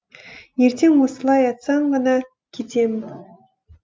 ертең осылай айтсаң ғана кетемін